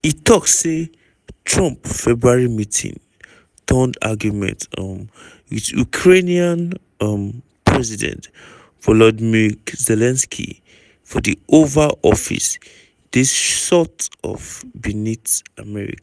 e tok say trump february meeting-turned-argument um wit ukrainian um president volodymyr zelensky for di oval office dey "sort of beneath america".